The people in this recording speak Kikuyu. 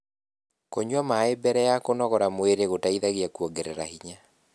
kũnyua maĩ mbele ya kũnogora mwĩrĩ gũteithagia kuongerera hinya